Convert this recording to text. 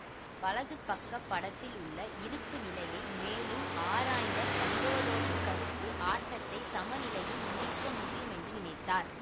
வலது பக்கப் படத்தில் உள்ள இருப்பு நிலையை மேலும் ஆராய்ந்த கண்டோரோவிச் கருப்பு ஆட்டத்தை சமநிலையில் முடிக்க முடியுமென்று நினைத்தார்